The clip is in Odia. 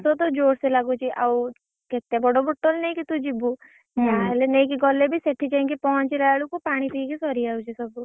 ଶୋସତ ଯୋର୍ ସେ ଲାଗୁଛି ଆଉ କେତେ ବଡ bottle ନେଇକି ତୁ ଯିବୁ? ଯାହାହେଲେ ନେଇକି ଗଲେ ବି ସେଠି ଯାଇଁ କି ପହଞ୍ଚିଲା ବେଳକୁ ପାଣି ପିଇ କି ସରି ଯାଉଛି ସବୁ।